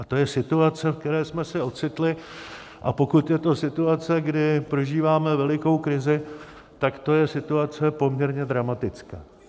A to je situace, v které jsme se ocitli, a pokud je to situace, kdy prožíváme velikou krizi, tak to je situace poměrně dramatická.